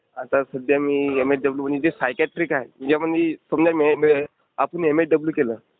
आता सध्या मी एमएसडब्ल्यू म्हणजे सायक्याट्रिक आहे. म्हणजे आपण जी.. जी आपण एमएसडब्ल्यू केलं.